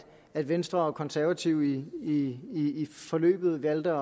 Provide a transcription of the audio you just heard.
at venstre og konservative i forløbet valgte